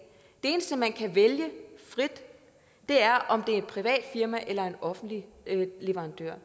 eneste man kan vælge frit er om det er et privat firma eller en offentlig leverandør